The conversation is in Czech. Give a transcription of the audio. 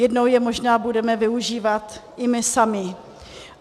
Jednou je možná budeme využívat i my sami.